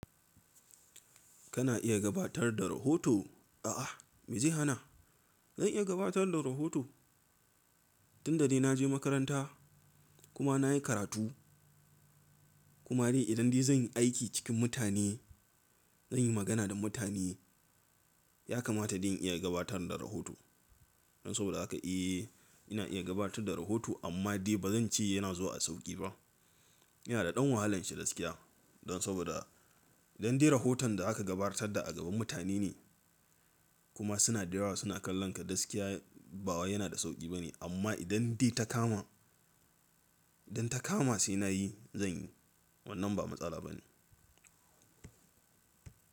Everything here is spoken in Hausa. Kana iya gabatar da rahoto? A'a, me zai hana? Zan iya gabatar da rahoto. Tunda dai na je makaranta kuma na yi karatu. Kuma dai idan dai zan yi aiki cikin mutane, zan yi magana da mutane, ya kamata dan in iya gabatar da rahoto. Don saboda haka eh ina iya gabatar da rahoto amma dai ba zan ce yana zuwa a sauƙi ba. Yana da ɗan wahalan shi dasƙiya don saboda idan dai rahoton da aka gabatar da a gaban mutane ne kuma suna da yawa suna kallon ka gasƙiya bawa yana da sauƙi bane. Amma idan dai ta kama, idan ta kama sai na yi zan yi wannan ba matsala bane.